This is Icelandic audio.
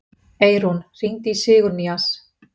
Eirún, hringdu í Sigurnýjas.